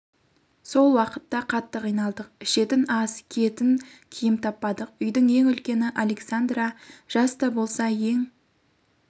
сол уақытта қатты қиналдық ішетін ас киетін киім таппадық үйдің ең үлкені александра жаста болса ең